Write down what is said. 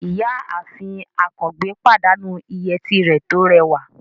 Ìyáàfin Àkàngbé pàdánù ìyẹ́tí rẹ̀ tó rẹwà